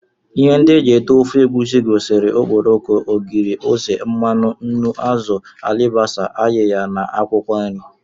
Ihe ndị e ji ete ofe egusi gụnyere okporoko, ogiri, ose, mmanụ, nnu, azụ, alibasa, ayiya na akwụkwọ nri